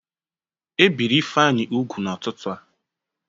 E biri Ifeanyị ugwu n'ụtụtụ taa.